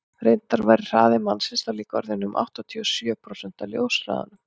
reyndar væri hraði mannsins þá líka orðinn um áttatíu og sjö prósent af ljóshraðanum